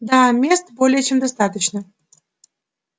да мест более чем достаточно